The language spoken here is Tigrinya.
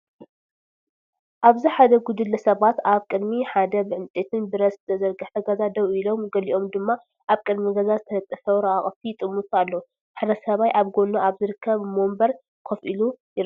ኣብዚ ሓደ ጉጅለ ሰባት ኣብ ቅድሚ ሓደ ብዕንጨይትን ብረት ዝተሰርሐ ገዛ ደው ኢሎም ገሊኦም ድማ ኣብ ቅድሚት ገዛ ዝተለጠፈ ወረቓቕቲ ይጥምቱ ኣለዉ። ሓደ ሰብኣይ ኣብ ጎድኑ ኣብ ዝርከብ መንበር ኮፍ ኢሉ ይርአ።